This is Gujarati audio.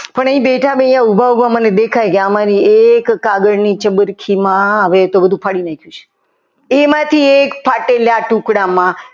પણ એ બેઠા બેઠા ઉભા ઉભા મને દેખાય જાય આમાંથી એક કાગળની ચબરકીમાં હવે તો બધું ફાડી નાખ્યું છે એમાંથી એક ફાટેલા ટુકડામાં